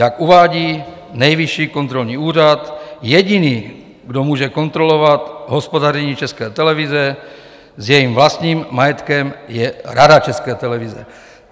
Jak uvádí Nejvyšší kontrolní úřad, jediný, kdo může kontrolovat hospodaření České televize s jejím vlastním majetkem, je Rada České televize.